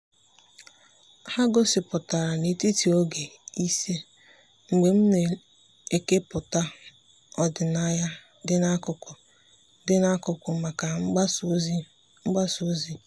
ha gosipụtara n'etiti oge ịse mgbe m na-ekepụta ọdịnaya dị n'akụkụ dị n'akụkụ maka mgbasa ozi mgbasa ozi.